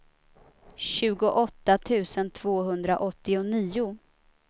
tjugoåtta tusen tvåhundraåttionio